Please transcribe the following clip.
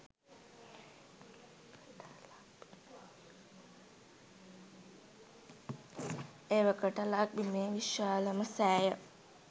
එවකට ලක්බිමේ විශාලම සෑය